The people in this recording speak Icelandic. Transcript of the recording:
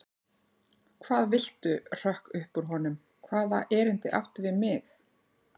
Hvað viltu hrökk upp úr honum, hvaða erindi áttu við mig?